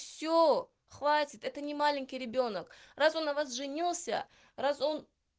все хватит это не маленький ребёнок раз он на вас женился раз он